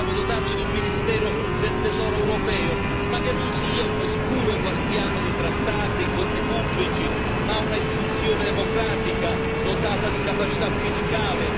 dobbiamo dotarci di un ministero del Tesoro europeo, ma che non sia un oscuro guardiano dei trattati, dei conti pubblici, ma un'istituzione democratica, dotata di capacità fiscale.